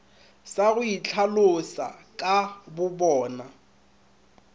sa go itlhaloša ka bobona